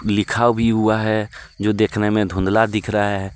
लिखा भी हुआ है जो देखने में धुंधला दिख रहा है।